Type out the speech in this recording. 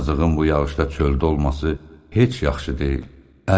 Yazığın bu yağışda çöldə olması heç yaxşı deyil.